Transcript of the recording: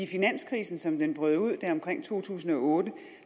finanskrisen som den brød ud der omkring to tusind og otte